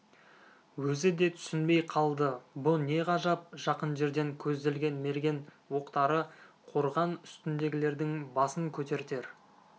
өзі де түсінбей қалды бұ не ғажап жақын жерден көзделген мерген оқтары қорған үстіндегілердің басын көтертер